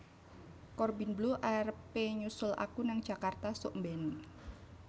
Corbin Bleu arep e nyusul aku nang Jakarta suk mben